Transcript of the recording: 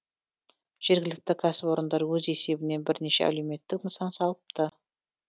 жергілікті кәсіпорындар өз есебінен бірнеше әлеуметтік нысан салыпты